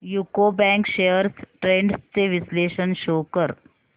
UCO bank shares trends चे विश्लेषण show कर